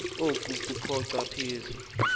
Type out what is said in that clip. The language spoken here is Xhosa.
oku kochopha phezu